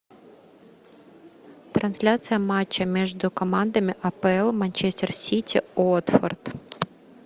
трансляция матча между командами апл манчестер сити уотфорд